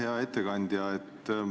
Hea ettekandja!